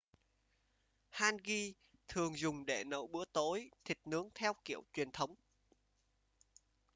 hangi thường dùng để nấu bữa tối thịt nướng theo kiểu truyền thống